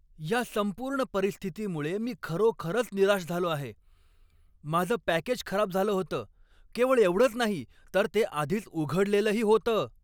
या संपूर्ण परिस्थितीमुळे मी खरोखरच निराश झालो आहे. माझं पॅकेज खराब झालं होतं केवळ एवढंच नाही, तर ते आधीच उघडलेलंही होतं!